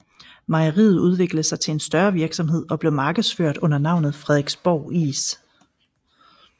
Mejeriet udviklede sig til en større virksomhed og blev markedsført under navnet Frederiksborg Is